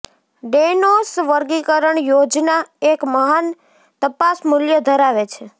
ડેનૌસ વર્ગીકરણ યોજના એક મહાન તપાસ મૂલ્ય ધરાવે છે